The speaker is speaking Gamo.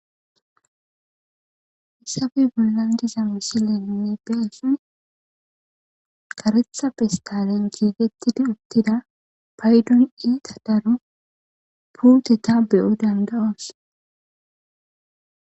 Hissabe gilandiza misilenne beasun karetha pistalen jiigettida uttida paydun iita daro puteta beyo dandayoos